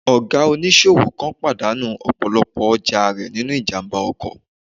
Ọ̀gá oníṣòwò kan pàdánù ọ̀pọ̀lọpọ̀ ọjà rẹ̀ nínú ìjàmbá ọkọ̀